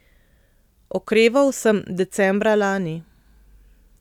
Okreval sem decembra lani.